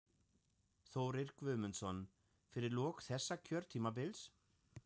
Þórir Guðmundsson: Fyrir lok þessa kjörtímabils?